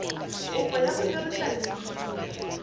kopo ya go dirisa leina